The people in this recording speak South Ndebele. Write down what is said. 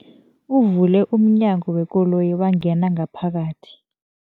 Uvule umnyango wekoloyi wangena ngaphakathi.